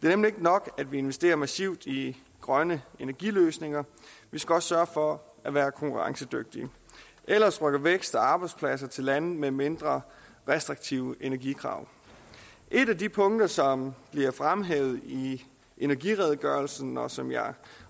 nemlig ikke nok at vi investerer massivt i grønne energiløsninger vi skal også sørge for at være konkurrencedygtige ellers rykker vækst og arbejdspladser til lande med mindre restriktive energikrav et af de punkter som bliver fremhævet i energiredegørelsen og som jeg